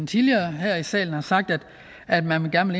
tidligere her i salen har sagt at man gerne